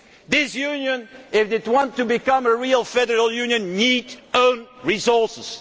This Union, if it wants to become a real federal union, needs own resources